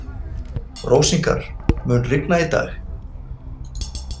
Rósinkar, mun rigna í dag?